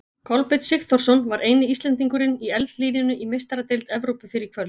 Kolbeinn Sigþórsson var eini Íslendingurinn í eldlínunni í Meistaradeild Evrópu fyrr í kvöld.